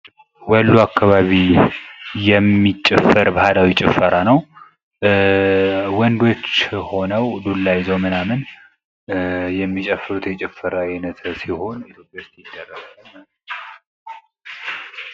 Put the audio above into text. ወሎ አከባቢ የሚጨፈር ባህላዊ ጭፈራ ነው ፤ ወንዶች ሆነው ዱላ ይዘው የሚጨፍሩት የጭፈራ አይነት ሲሆን ኢትዮጵያ ዉስጥ ይደረጋል ማለት ነው።